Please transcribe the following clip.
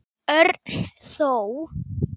Örn þó.